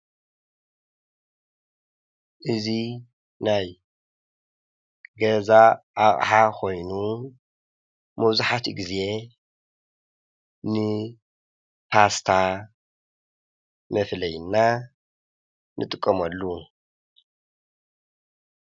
እዙይ ናይ ገዛ ኣቕሓ ኾይኑ መብዛሕቲኡ ጊዜ ንፓስታ መፍለይና ንጥቀሞሉ